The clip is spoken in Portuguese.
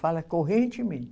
Fala.